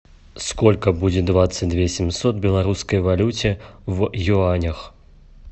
сколько будет двадцать две семьсот белорусской валюте в юанях